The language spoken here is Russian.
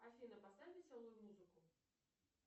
афина поставь веселую музыку